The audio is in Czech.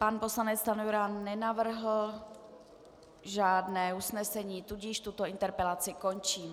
Pan poslanec Stanjura nenavrhl žádné usnesení, tudíž tuto interpelaci končím.